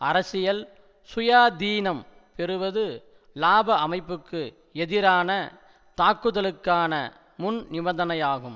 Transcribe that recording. அரசியல் சுயாதீனம் பெறுவது இலாப அமைப்புக்கு எதிரான தாக்குதலுக்கான முன்நிபந்தனையாகும்